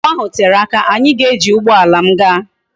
Njem ahu tere aka, anyi ga eji ugboala m gaa